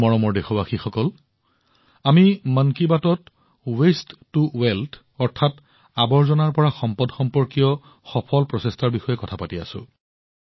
মোৰ মৰমৰ দেশবাসীসকল আমি মন কী বাতত আৱৰ্জনাৰ পৰা সম্পদ সম্পৰ্কীয় সফল প্ৰচেষ্টাৰ বিষয়ে কথা পাতি আছো